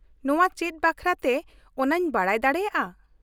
ᱱᱚᱶᱟ ᱪᱮᱫ ᱵᱟᱠᱷᱨᱟᱛᱮ ᱚᱱᱟᱧ ᱵᱟᱰᱟᱭ ᱫᱟᱲᱮᱭᱟᱜᱼᱟ ?